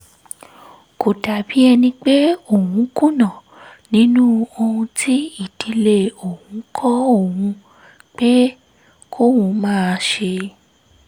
kó dàbí ẹni pé òun kùnà nínú ohun tí ìdílé òun kọ́ òun pé kóun máa ṣe